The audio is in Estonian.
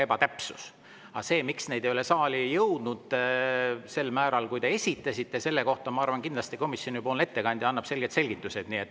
Aga selle kohta, miks neid ei ole saali jõudnud sel määral, kui palju te esitasite, ma arvan, annab komisjonipoolne ettekandja kindlasti selged selgitused.